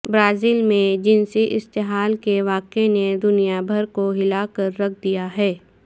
Brazil میں جنسی استحال کے واقع نے دنیا بھر کو ہلا کر رکھ دیا ہے